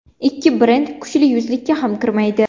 Ikki brend kuchli yuzlikka ham kirmaydi.